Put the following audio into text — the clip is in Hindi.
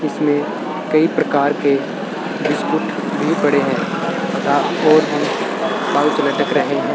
इसमें कई प्रकार के बिस्कुट भी पड़े है पाउच लटक रहे है।